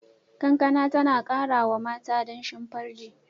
Kankana tana kara wa mata danshin farji.